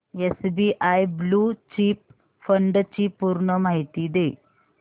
SBI blue chip fund ची पूर्ण माहिती दे